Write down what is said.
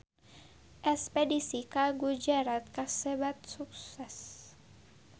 Espedisi ka Gujarat kasebat sukses